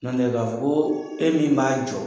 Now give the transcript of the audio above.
Nɔntɛ, k'a fɔ e min b'a fɔ ko e min b'a jɔ.